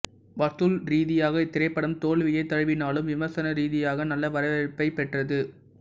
வசூல் ரீதியாக இத்திரைப்படம் தோல்வியைத் தழுவினாலும் விமர்சன ரீதியாக நல்ல வரவேற்பைப் பெற்றது